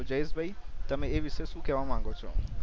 તો જાયેશભઈ તમે એ વિશે શું કેવા માંગો છો